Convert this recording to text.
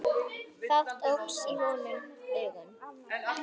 Fátt óx honum í augum.